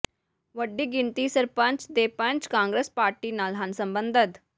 ਵੱਡੀ ਗਿਣਤੀ ਸਰਪੰਚ ਤੇ ਪੰਚ ਕਾਂਗਰਸ ਪਾਰਟੀ ਨਾਲ ਹਨ ਸਬੰਧਤ